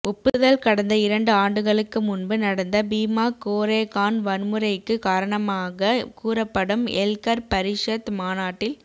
ஒப்புதல்கடந்த இரண்டு ஆண்டுகளுக்கு முன்பு நடந்த பீமா கோரேகான்வன்முறைக்கு காரணமாக கூறப்படும் எல்கர் பரிஷத் மாநாட்டில்